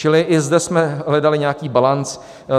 Čili i zde jsme hledali nějaký balanc.